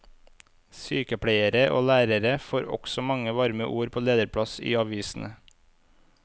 Sykepleiere og lærere får også mange varme ord på lederplass i avisene.